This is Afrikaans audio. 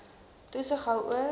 toesig hou oor